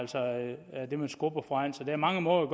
det man skubber foran sig der er mange måder at